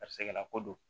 Karisala ko don